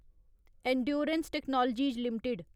endurance technologies limited